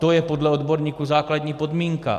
To je podle odborníků základní podmínka.